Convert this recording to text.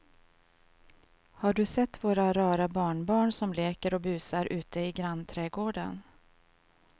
Har du sett våra rara barnbarn som leker och busar ute i grannträdgården!